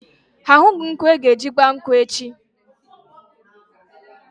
Ha ahụghị nkwụ aga-eji gba nkwụ echi.